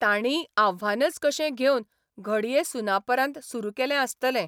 तांणीय आव्हानच कशें घेवन घडये सुनापरान्त सुरू केलें आसतलें.